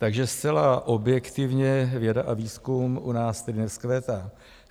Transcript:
Takže zcela objektivně věda a výzkum u nás tedy nevzkvétá.